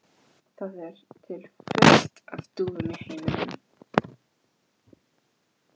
Það er til fullt af dúfum í heiminum.